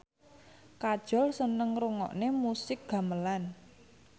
Kajol seneng ngrungokne musik gamelan